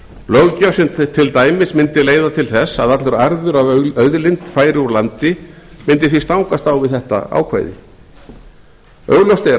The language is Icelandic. löggjöf sem til dæmis mundi leiða til þess að allur arður af auðlind færi úr landi mundi því stangast á við þetta ákvæði augljóst er að